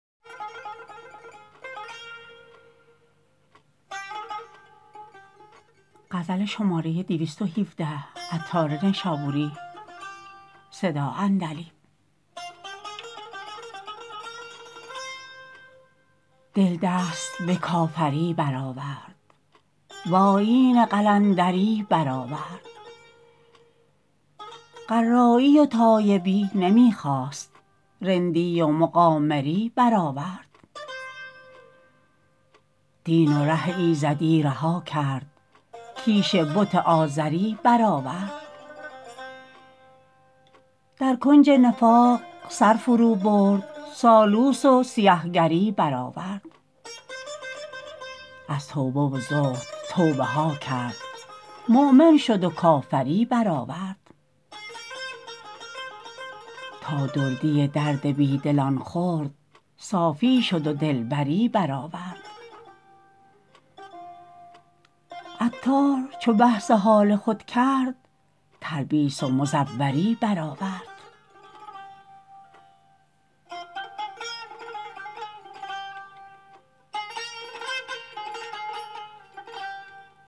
دل دست به کافری بر آورد وآیین قلندری بر آورد قرایی و تایبی نمی خواست رندی و مقامری بر آورد دین و ره ایزدی رها کرد کیش بت آزری بر آورد در کنج نفاق سر فرو برد سالوس و سیه گری بر آورد از توبه و زهد توبه ها کرد مؤمن شد و کافری بر آورد تا دردی درد بی دلان خورد صافی شد و دلبری بر آورد عطار چو بحث حال خود کرد تلبیس و مزوری بر آورد